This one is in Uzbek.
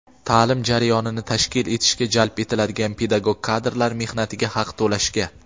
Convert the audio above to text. ta’lim jarayonini tashkil etishga jalb etiladigan pedagog kadrlar mehnatiga haq to‘lashga.